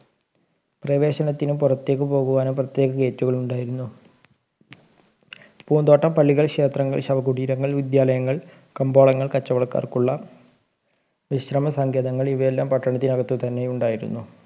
പ്രവേശനത്തിനുo പുറത്തേയ്ക്ക് പോകുവാനും പ്രത്യേക Gate കൾ ഉണ്ടായിരുന്നു പുന്തോട്ടം പള്ളികൾ ക്ഷേത്രങ്ങൾ ശവകുടീരങ്ങൾ വിദ്യാലയങ്ങൾ കബോളങ്ങൾ കച്ചവടക്കാർക്കുള്ള വിശ്രമ സങ്കേതങ്ങൾ ഇവയെല്ലാം പട്ടണത്തിന് അകത്ത് തന്നെ ഉണ്ടായിരുന്നു